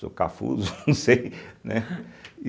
Sou cafuzo, não sei, né. e